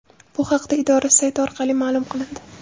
Bu haqda idora sayti orqali ma’lum qilindi .